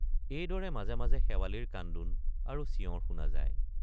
এইদৰে মাজে মাজে শেৱালিৰ কান্দোন আৰু চিঞৰ শুনা যায়।